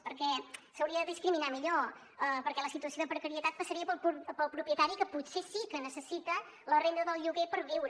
perquè s’hauria de discriminar millor perquè la situació de precarietat passaria pel propietari que potser sí que necessita la renda del lloguer per viure